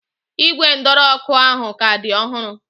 Ígwè ndọrọ ọ́kụ́ ahụ ka dị ọhụrụ.